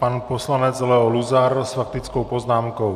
Pan poslanec Leo Luzar s faktickou poznámkou.